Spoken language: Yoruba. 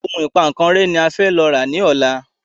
Òun ìpankan rẹ́ ní a fẹ lọ rà ní ọ̀la